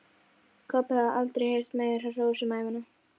Kobbi hafði aldrei heyrt meira hrós um ævina.